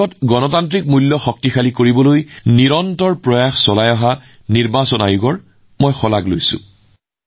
দেশৰ গণতান্ত্ৰিক মূল্যবোধক শক্তিশালী কৰাৰ বাবে নিৰন্তৰ প্ৰচেষ্টা চলোৱা নিৰ্বাচন আয়োগক মই প্ৰশংসা কৰিছো